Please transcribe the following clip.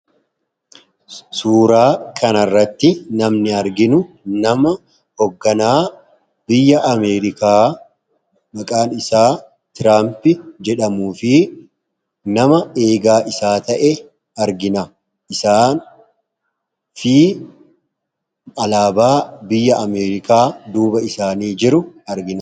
Suuraa kanarratti namni arginu nama hogganaa biyya Ameerikaa maqaan isaa tiraampi jedhamu fi nama eegaa isaa ta'e argina . isaan fi alaabaa biyya ameerikaa duuba isaanii jiru argina.